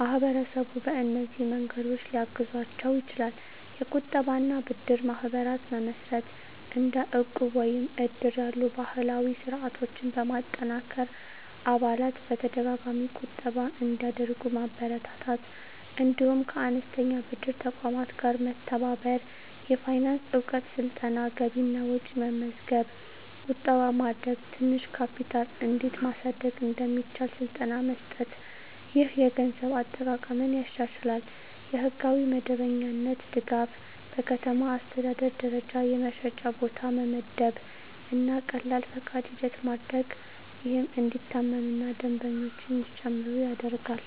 ማህበረሰቡ በእነዚህ መንገዶች ሊያግዛቸው ይችላል፦ የቁጠባ እና ብድር ማህበራት መመስረት – እንደ ዕቁብ ወይም እድር ያሉ ባህላዊ ስርዓቶችን በማጠናከር አባላት በተደጋጋሚ ቁጠባ እንዲያደርጉ ማበረታታት። እንዲሁም ከአነስተኛ ብድር ተቋማት ጋር መተባበር። የፋይናንስ እውቀት ስልጠና – ገቢና ወጪ መመዝገብ፣ ቁጠባ ማድረግ፣ ትንሽ ካፒታል እንዴት ማሳደግ እንደሚቻል ስልጠና መስጠት። ይህ የገንዘብ አጠቃቀምን ያሻሽላል። የሕጋዊ መደበኛነት ድጋፍ – በከተማ አስተዳደር ደረጃ የመሸጫ ቦታ መመደብ እና ቀላል ፈቃድ ሂደት ማድረግ፣ ይህም እንዲታመኑ እና ደንበኞች እንዲጨምሩ ይረዳል።